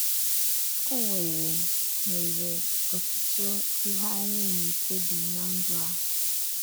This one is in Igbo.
O nwere nwere ọtụtụ ihe anyị na - ekpebi ná ndụ a.